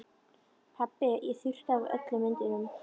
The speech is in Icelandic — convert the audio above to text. Pabbi ég þurrkaði af öllum myndunum.